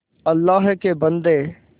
अल्लाह के बन्दे